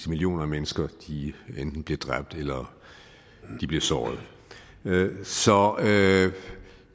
millioner af mennesker enten bliver dræbt eller såret så